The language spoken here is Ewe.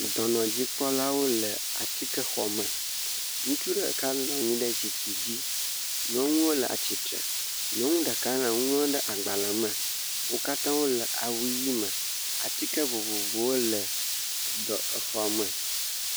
Dɔnɔ dzikpɔlawo le atsike xɔme, ŋutsu ɖeka nɔnyi ɖe zikpui dzi, nyɔnuwo le atsitre, nyɔnu ɖeka le nu ŋlɔ ɖe agbalē me, o kata o le awu ɣie me, atsike vovovowo le xɔme.